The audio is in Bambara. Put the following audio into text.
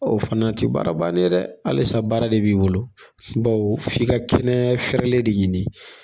O fɛnɛ tɛ baara bannen ye dɛ, halisa baara de b'i bolo bawo f'i ka kɛnɛ fɛrɛlen de ɲini